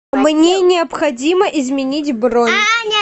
мне необходимо изменить бронь